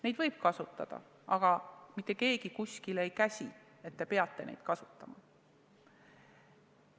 Neid võib kasutada, aga mitte keegi kuskil ei käsi, et te peate neid kasutama.